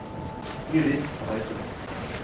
Judith Reitan